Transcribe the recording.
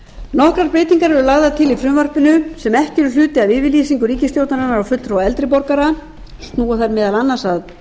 nokkrar breytingar eru lagðar til í frumvarpinu sem ekki eru hluti af yfirlýsingu ríkisstjórnarinnar og fulltrúa eldri borgara og snúa þær meðal annars að